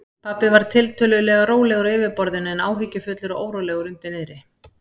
Pabbi var tiltölulega rólegur á yfirborðinu en áhyggjufullur og órólegur undir niðri.